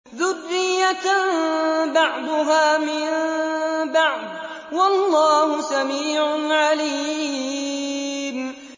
ذُرِّيَّةً بَعْضُهَا مِن بَعْضٍ ۗ وَاللَّهُ سَمِيعٌ عَلِيمٌ